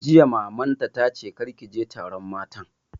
Jiya Mamanta ta ce 'kar ki je taron matan'!